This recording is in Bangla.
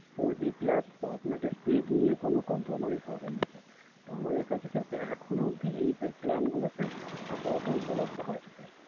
four G Plus আপনাকে Speed নিয়ে কোন Compromise হবে না। আমাদের কাছে এখন অব্দি এই Plan গুলো Sir উপলব্ধি হয়